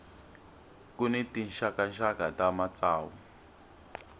ku ni tinxakaxaka ta matsavu